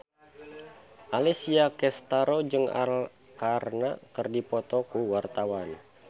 Alessia Cestaro jeung Arkarna keur dipoto ku wartawan